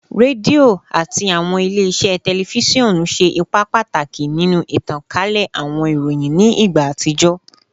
Redio ati awọn ile-iṣẹ tẹlifisiọnu ṣe ipa pataki ninu itankale awọn iroyin ni igba atijọ